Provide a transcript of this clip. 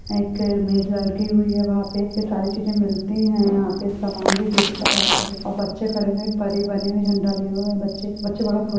एक हुई है वहां पे सारे चीजे मिलती है यहां पे समान भी भेजता है यहां पर और बच्चे खड़े हुई परी बनी हुई झण्डा लिए हुए हैं बच्चे। बच्चे बाड़े खुश--